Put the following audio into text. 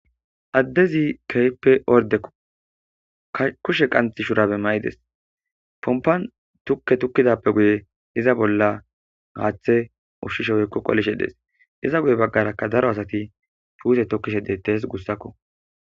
addezi keype orde kushe qant shurabe mayides pompan tukke tukkidappe guye iza bolla haaththe ushshishe weykko qolishe dees iza guye baggarakka daro asati puuse tokkishe deettes gussakko